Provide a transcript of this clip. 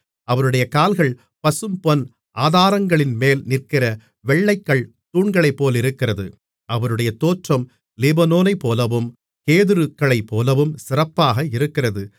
அவருடைய கால்கள் பசும்பொன் ஆதாரங்களின்மேல் நிற்கிற வெள்ளைக்கல் தூண்களைப்போலிருக்கிறது அவருடைய தோற்றம் லீபனோனைப்போலவும் கேதுருக்களைப்போலவும் சிறப்பாக இருக்கிறது